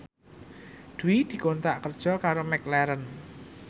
Dwi dikontrak kerja karo McLaren